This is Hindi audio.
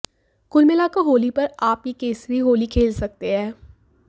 कुल मिलाकर होली पर आप ये केसरी होली खेल सकते हैं